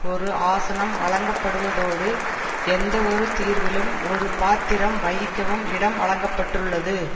ஒரு ஆசனம் வழங்கப்படுவதோடு எந்தவொரு தீர்விலும் ஒரு பாத்திரம் வகிக்கவும் இடம் வழங்க பட்டுள்ளது